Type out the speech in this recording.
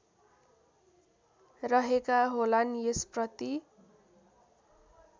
रहेका होलान् यसप्रति